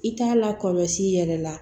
I t'a lakɔlɔsi i yɛrɛ la